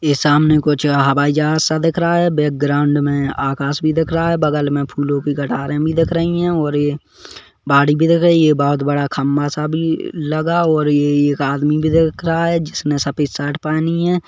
ए सामने कुछ हवाई जहाज सा दिख रहा है बैकग्राउन्ड मे आकास भी दिख रहा है बगल मे फूलों कि कतारे भी दिख रही है ओर ये बाड़ी भी दिख रहा है ये बहुत बड़ा सा खंभा सा भी लगा ओर ये एक आदमी भी दिख रहा है जिसने सफेद शर्ट पहनी है।